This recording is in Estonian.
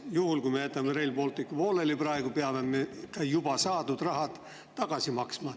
Juhul kui me jätame Rail Balticu praegu pooleli, peame ka juba saadud raha tagasi maksma.